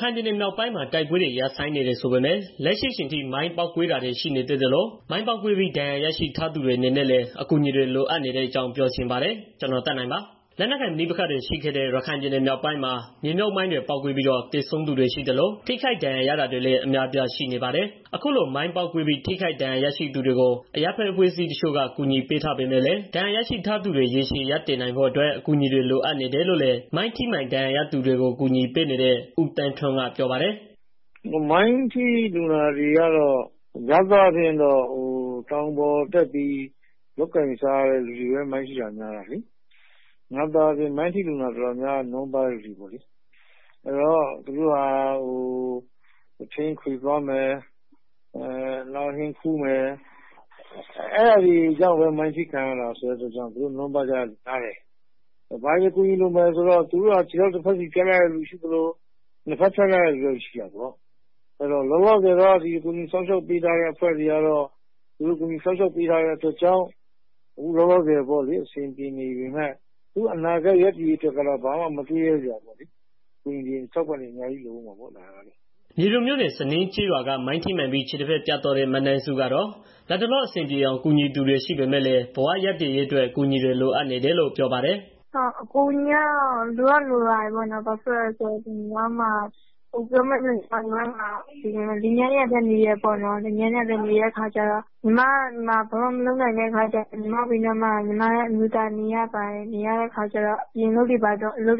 ခိုင်ပြည်နယ် မြောက်ပိုင်းမှာ တိုက်ပွဲတွေ ရပ်ဆိုင်းနေတယ်ဆိုပေမဲ့ လက်ရှိအချိန်ထိ မိုင်းပေါက်ကွဲတာတွေ ရှိနေသေးသလိုမိုင်းပေါက်ကွဲပြီး ဒဏ်ရာရရှိထာသူတွေအနေနဲ့လည်းအကူအညီတွေ လိုအပ်နေတဲ့ အကြောင်း ဗွီအိုအေမြန်မာပိုင်းသတင်းထောက် ကိုသက်နိုင်က ပြောပြပေးပါမယ်။ လက်နက်ကိုင် ပဋိပက္ခတွေ ရှိခဲ့တဲ့ ရခိုင်ပြည်နယ်မြောက်ပိုင်းမှာ မြေမြှုပ်မိုင်းတွေ ပေါက်ကွဲပြီး တော့ သေဆုံးသူတွေ ရှိသလို ထိခိုက်ဒဏ်ရာရတာတွေလည်း အများအပြား ရှိနေပါတယ်။ အခုလို မိုင်းပေါက်ကွဲပြီး ထိခိုက်ဒဏ်ရာရရှိသူတွေကို အရပ်ဘက်အဖွဲ့အစည်း တချို့က ကူညီပေးထားပေမဲ့လည်း ဒဏ်ရာရှိထားသူတွေ ရေရှည်ရပ်တည်နိုင်ဖို့အတွက် အကူအညီတွေ လိုအပ်နေတယ်လို့လည်း မိုင်းထိမှန်သူတွေကို ကူညီပေးနေတဲ့ ဦးသန်းထွန်းက ပြောပါတယ်။ “မိုင်းထိလူနာတွေကတော့ များသောအားဖြင့် တောင်ပေါ်တွေ၊ တောတွေမှာ လုပ်ကိုင်စား သောက်ရတဲ့ လူတွေများတယ်လေ။ တော်တော်များများကလည်း ဆင်းရဲ နွမ်းပါတဲ့ သူတွေပေါ့လေ။ အဲဒီတော့ သူတို့က ထင်ခွေသွားမယ်။ ဟင်းခူးမယ်။ အဲဒါကြောင့်ပဲ မိုင်းထိခံရ တာဆိုတော့ ဆင်းရဲ နွမ်းပါးတဲ့သူ များတယ်။ သူတို့ဟာ ခြေထောက်တစ်ဘက် ဖြတ်ထားရသူတွေလည်း ရှိသလို၊ နှစ်ဘက် ဖြတ်ထားရသူတွေလည်း ရှိတာပေါ့။ လောလောဆယ်ကတော့ ဒီကူညီစောင့်ရှောက်ရေး အဖွဲ့တွေက ကူညီပေးထားလို့ လောလောဆယ် အဆင်ပြေနေပေမဲ့ သူတို့ရဲ့ အနာဂတ် ရပ်တည်ရေးအတွက်ကတော့ မတွေးရဲစရာပါပဲ။ အကူအညီတွေ အထောက်ပံ့တွေ အများကြီး လိုအုံးမှာပေါ့။” မြေပုံမြို့နယ် စညင်းကျေးရွာက မိုင်းထိမှန်ပြီးခြေတစ်ဘက်ပြတ်သွားတဲ့ မနန်းစုကတော့ လတ်တလော အဆင်ပြေအောင် ကူညီသူတွေ ရှိပေမယ့်လည်း ဘဝရပ်တည်ရေးအတွက် အကူအညီတွေ လိုအပ်နေတယ်လို့ ပြောပါတယ်။ “အကူအညီကတော့ လိုတော့ လိုတာပေါ့နော်။ ဘာဖြစ်လို့လည်းဆိုတော့ ကျမတို့က လင်မယားနှစ်ယောက်တည်းနေတာဆိုတော့လေ ညီမက ဘာမှမလုပ်နိုင်တဲ့ အခါကျတော့ ညီမ အမျိုးသားကလည်း ညီမဘေးနားနေရတော့ အပြင်အလုပ်တွေ ဘာတွေလည်း